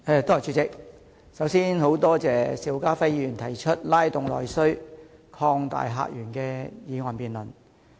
主席，首先，多謝邵家輝議員提出這項"拉動內需擴大客源"議案辯論。